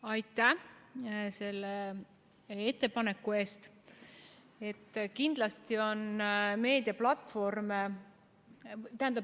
Aitäh selle ettepaneku eest!